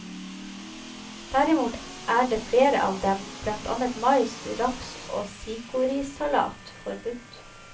Derimot er flere av dem, blant annet mais, raps og sikorisalat, forbudt.